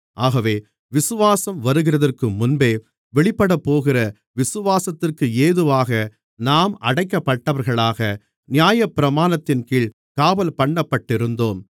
ஆகவே விசுவாசம் வருகிறதற்கு முன்பே வெளிப்படப்போகிற விசுவாசத்திற்கு ஏதுவாக நாம் அடைக்கப்பட்டவர்களாக நியாயப்பிரமாணத்தின்கீழ் காவல்பண்ணப்பட்டிருந்தோம்